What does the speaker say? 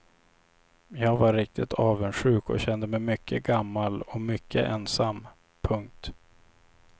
Jag var riktigt avundsjuk och kände mig mycket gammal och mycket ensam. punkt